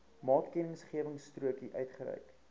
maatkennisgewingstrokie uitgereik